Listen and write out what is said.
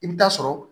I bɛ taa sɔrɔ